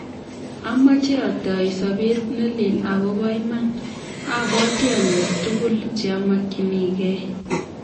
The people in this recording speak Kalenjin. "Amache atoi sobet ne leel akobo iman, abwati anyor tugul che amakyinigei ."